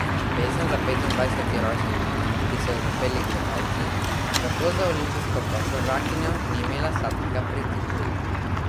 Pesem za petindvajseti rojstni dan, ki so jo zapeli gledalci, tako za olimpijsko podprvakinjo ni imela sladkega pridiha.